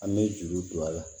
An bɛ juru don a la